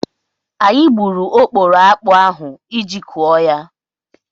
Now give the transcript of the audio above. Anyị gburu okporo akpụ ahụ iji kụọ ya.